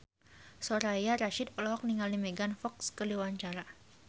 Soraya Rasyid olohok ningali Megan Fox keur diwawancara